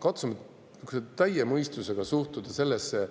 katsume täie mõistusega suhtuda sellesse.